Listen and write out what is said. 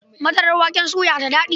Madarar waken soya da daɗi.